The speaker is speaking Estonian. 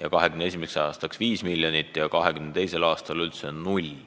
2021. aastaks 5 miljonit ja 2022. aastaks üldse 0.